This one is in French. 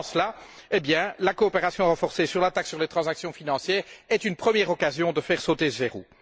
Dans ce sens là, la coopération renforcée sur la taxe sur les transactions financières est une première occasion de faire sauter ce verrou.